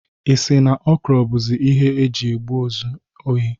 Ị si na Okoro bụzie onye oji egbụ ezu ohi?